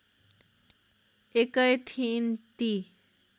एकै थिइन् ती